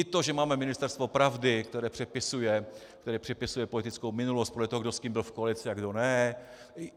I to, že máme ministerstvo pravdy, které přepisuje politickou minulost podle toho, kdo s kým byl v koalici a kdo ne.